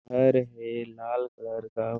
घर हे लाल कलर का--